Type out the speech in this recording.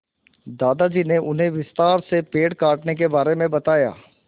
दादाजी ने उन्हें विस्तार से पेड़ काटने के बारे में बताया